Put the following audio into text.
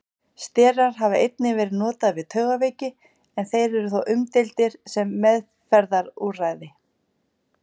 Sterar hafa einnig verið notaðir við taugaveiki en þeir eru þó umdeildir sem meðferðarúrræði.